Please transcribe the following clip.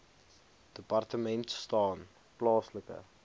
departement staan plaaslike